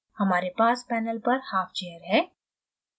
हमारे पास panel पर half chair है